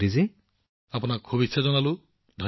প্ৰধানমন্ত্ৰীঃ নমস্কাৰ ভাতৃ